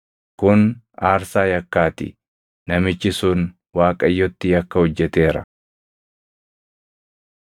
Kun aarsaa yakkaa ti; namichi sun Waaqayyotti yakka hojjeteera.”